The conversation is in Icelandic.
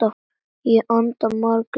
Ég anda maganum snöggt inn.